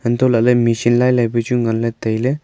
antolahley machine lailai pu chu nganley tailey.